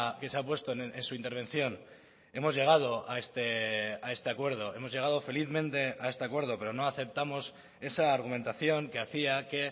que se ha puesto en su intervención hemos llegado a este acuerdo hemos llegado felizmente a este acuerdo pero no aceptamos esa argumentación que hacía que